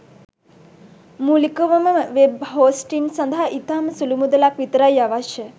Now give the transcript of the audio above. මූලිකවම web hosting සඳහා ඉතාම සුළු මුදලක් විතරයි අවශ්‍ය.